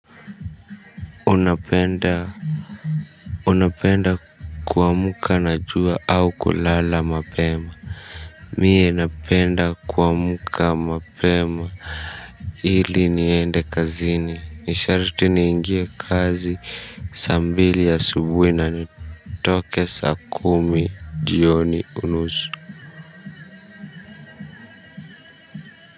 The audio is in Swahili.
Unapenda unapenda kuamuka na jua au kulala mapema mie napenda kuamuka mapema hili niende kazini ni shariti niingie kazi saa mbili asubui na ni toke saa kumi jioni unusu.